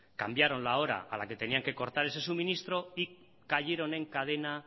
cambiaron la hora a la que tenían que cortar ese suministro y cayeron en cadena